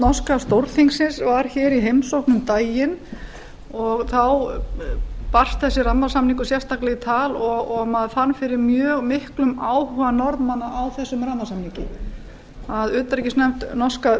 norska stórþingsins var hér í heimsókn um daginn og þá barst þessi rammasamningur sérstaklega í tal og maður fann fyrir mjög miklum áhuga norðmanna á þessum rammasamningi að utanríkisnefnd norska